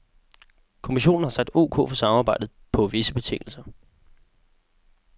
Kommissionen har sagt ok for samarbejdet, på visse betingelser.